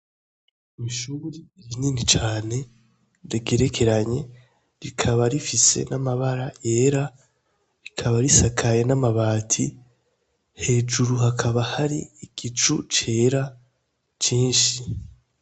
Ni ishure rinini cane rigerekeranye, rikaba rifise n'amabara yera, rikaba risakaye n'amabati, hejuru hakaba hari igicu cera cinshi.